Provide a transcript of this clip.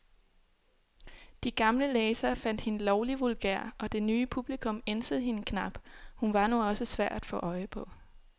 De gamle læsere fandt hende lovlig vulgær, og det nye publikum ænsede hende knap, hun var nu også svær at få øje på.